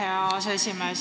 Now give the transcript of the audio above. Aitäh, hea aseesimees!